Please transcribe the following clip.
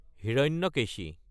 Hiranyakeshi